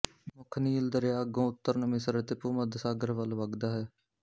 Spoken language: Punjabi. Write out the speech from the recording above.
ਮੁੱਖ ਨੀਲ ਦਰਿਆ ਅੱਗੋਂ ਉੱਤਰ ਨੂੰ ਮਿਸਰ ਅਤੇ ਭੂ ਮੱਧ ਸਾਗਰ ਵੱਲ ਵਗਦਾ ਹੈ